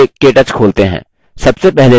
चलिए केटच खोलते हैं